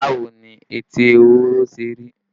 Báwo ni etí ehoro ṣe rí?